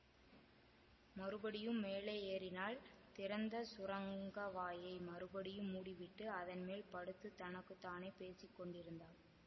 மறுபடியும் மேலே ஏறினாள் திறந்த சுரங்கவாயை மறுபடியும் மூடிவிட்டு அதன்மேல் படுத்துத் தனக்கு தானே பேசி கொண்டிருந்தாள்